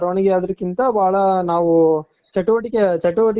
ಬರವಣಿಗೆ ಅದ್ರುಕಿಂತ ಬಾಳ ನಾವು ಚಟುವಟಿಕೆ,